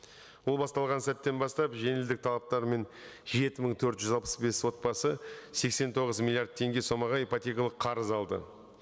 ол басталған сәттен бастап жеңілдік талаптары мен жеті мың төрт жүз алпыс бес отбасы сексен тоғыз миллиард теңге сомаға ипотекалық қарыз алды